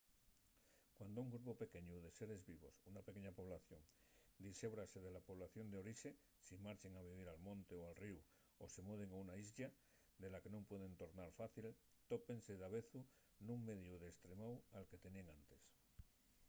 cuando un grupu pequeñu de seres vivos una pequeña población dixébrase de la población d'orixe si marchen a vivir al monte o al ríu o se muden a una islla de la que nun pueden tornar fácil tópense davezu nun mediu destremáu al que teníen enantes